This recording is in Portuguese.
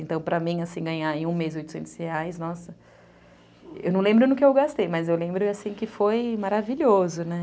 Então, para mim, assim, ganhar em um mês oitocentos reais, nossa... Eu não lembro no que eu gastei, mas eu lembro, assim, que foi maravilhoso, né?